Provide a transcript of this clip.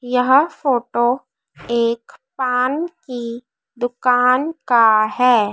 यह फोटो एक पान की दुकान का है।